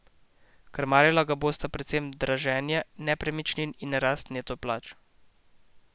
Krmarila ga bosta predvsem draženje nepremičnin in rast neto plač.